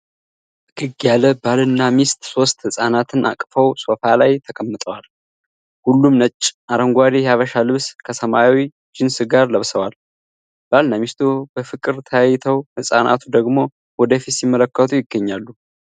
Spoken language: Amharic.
ፈገግ ያለ ባልና ሚስት ሶስት ህጻናትን አቅፈው ሶፋ ላይ ተቀምጠዋል። ሁሉም ነጭና አረንጓዴ የሐበሻ ልብስ ከሰማያዊ ጂንስ ጋር ለብሰዋል። ባልና ሚስቱ በፍቅር ተያይተው ህፃናቱ ደግሞ ወደፊት ሲመለከቱ ይገኛሉ።